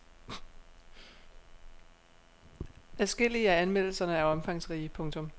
Adskillige af anmeldelserne er omfangsrige. punktum